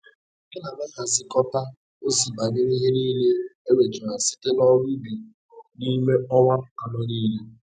Ana m axhịkọta ozi banyere ihe nile e nwetara site n'ọrụ ubi n'ịme ọnwa anọ nile.